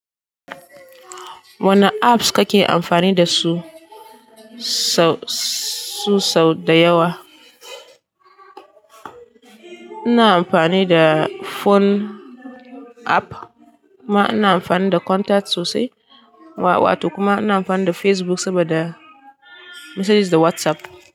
Wanne apps kake amfani da su su sau da yawa? Ina amfani da phone app kuma ina amfani da contacts sosai, wa-wato kuma ina amfani da Facebook saboda messages da WhatsApp.